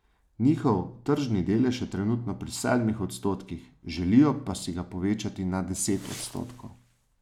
Njihov tržni delež je trenutno pri sedmih odstotkih, želijo si ga pa povečati na deset odstotkov.